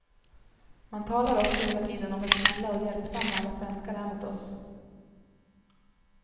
Man talar också hela tiden om hur snälla och hjälpsamma alla svenskar är mot oss.